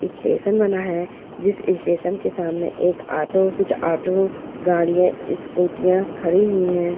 Station बना है जिस स्टेशन के सामने एक ऑटो कुछ ऑटो गाड़ियां स्कूटियां खड़ी हुई हैं।